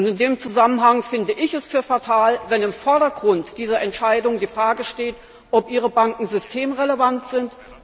In diesem Zusammenhang finde ich es fatal, wenn im Vordergrund dieser Entscheidung die Frage steht, ob Ihre Banken systemrelevant sind.